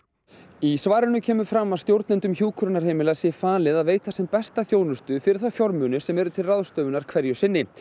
í svarinu kemur fram að stjórnendum hjúkrunarheimila sé falið að veita sem besta þjónustu fyrir þá fjármuni sem eru til ráðstöfunar hverju sinni